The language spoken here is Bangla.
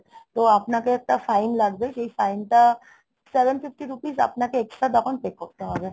তো আপনাকে একটা fine লাগবে, সেই fine টা seven fifty rupees আপনাকে extra তখন pay করতে হবে.